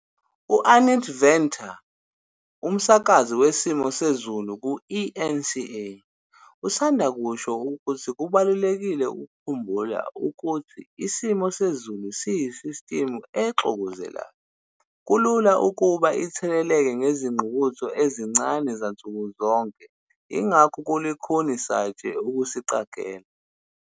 U-Annette Venter, umsakazi wesimo sezulu ku-eNCA, usanda kusho ukuthi kubalulekile ukukhumbula ukuthi isimo sezulu yisistimu exokozelayo kulula ukuba itheleleke ngezinguquko ezincane zansuku zonke yingakho kulukhuni satshe ukusiqagela!